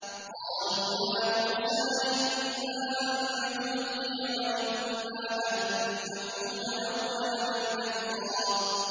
قَالُوا يَا مُوسَىٰ إِمَّا أَن تُلْقِيَ وَإِمَّا أَن نَّكُونَ أَوَّلَ مَنْ أَلْقَىٰ